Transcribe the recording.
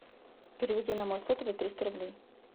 переведи на мой сотовый триста рублей